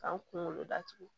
K'an kunkolo datugu